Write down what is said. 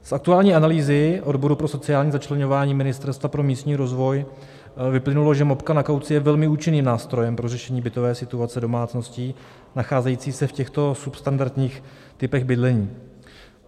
Z aktuální analýzy odboru pro sociální začleňování Ministerstva pro místní rozvoj vyplynulo, že mopka na kauci je velmi účinným nástrojem pro řešení bytové situace domácností nacházejících se v těchto substandardních typech bydlení.